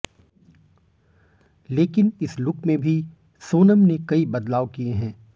लेकिन इस लुक में भी सोनम ने कई बदलाव किए हैं